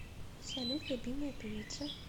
салют любимая певица